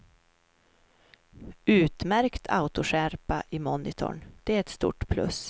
Utmärkt autoskärpa i monitorn, det är ett stort plus.